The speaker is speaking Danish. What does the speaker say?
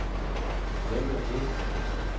Hvem er det